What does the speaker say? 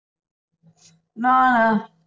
ਨਾ ਨਾ